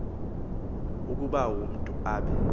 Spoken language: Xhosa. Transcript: ukuba umntu abe